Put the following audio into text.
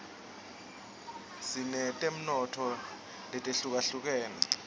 sinetemnotfo letihlukahlukene